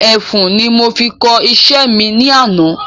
Ẹfun ni mo fi kọ iṣẹ́ mi ní àná